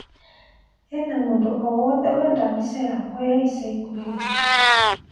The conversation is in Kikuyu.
hena mũndũ o wothe Wenda mbĩca yakwa ya ĩca ĩkũhĩ